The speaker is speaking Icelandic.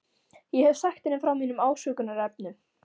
Ég hef sagt henni frá mínum ásökunarefnum.